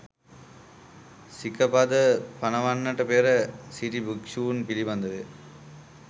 සික පද පනවන්නට පෙර සිටි භික්‍ෂූන් පිළිබඳව ය.